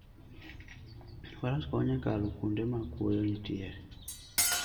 Faras konyo e kalo kuonde ma kuoyo nitie.